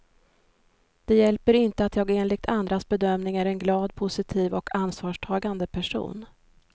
Det hjälper inte att jag enligt andras bedömning är en glad, positiv och ansvarstagande person.